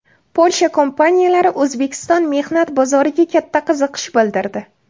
Polsha kompaniyalari O‘zbekiston mehnat bozoriga katta qiziqish bildirdi.